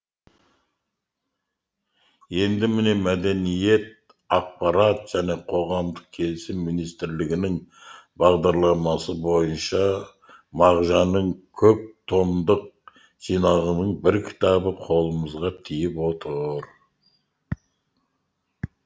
енді міне мәдениет ақпарат және қоғамдық келісім министрлігінің бағдарламасы бойынша мағжанның көп томдық жинағының бір кітабы қолымызға тиіп отыр